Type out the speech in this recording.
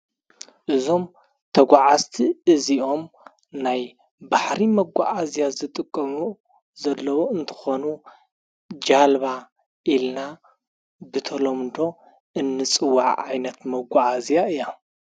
እዞም ተጐዓዝቲ እዚኦም ናይ ባሕሪ መጐዓእዝያ ዝጥቀሙ ዘለዉ እንተኾኑ ጃልባ ኢልና ብተሎምዶ እንጽዋዕ ዓይነት መጐኣእዚኣ እያ፡፡